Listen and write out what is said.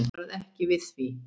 Bankinn varð ekki við því.